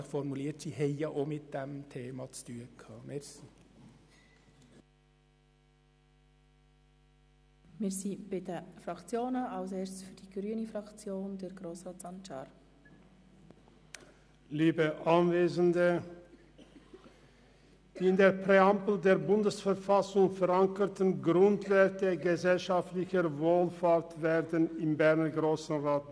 Die Grundwerte gesellschaftlicher Wohlfahrt werden im Berner Grossen Rat mit Füssen getreten, obwohl sie in der Präambel der Bundesverfassung der Schweizerischen Eidgenossenschaft (BV) verankert sind.